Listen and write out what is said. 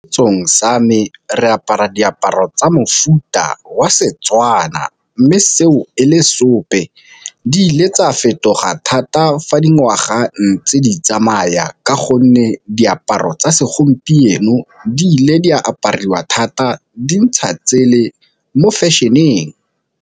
sa me re apara diaparo tsa mofuta wa Setswana, mme seo e le seope di ile tsa fetoga thata fa di ngwaga a ntse di tsamaya ka gonne diaparo tsa segompieno di ile di a apariwa thata dintsha tsele mo fashion-eng.